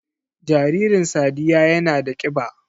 Jaririn sadiyya yana da kiba